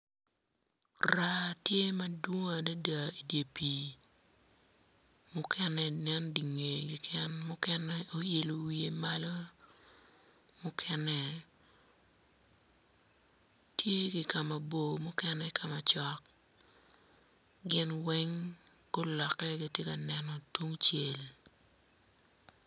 Raa tye madwong adada idye pii mukene nen di ngeye keken mukene oilo wiye malo mukene tye ki ka mabor mukene ki ka macok gin weng guloke gitye ka neno tungcel.